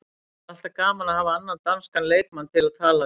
Það er alltaf gaman að hafa annan danskan leikmann til að tala við.